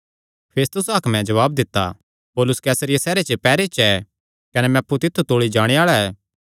फेस्तुस हाकमें जवाब दित्ता पौलुस कैसरिया सैहरे च पैहरे च ऐ कने मैं अप्पु तित्थु तौल़ी जाणे आल़ा ऐ